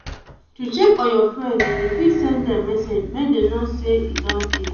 to check on your friends you fit send them message make them know say e don tey